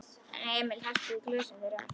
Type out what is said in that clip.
Emil hellti í glösin þeirra.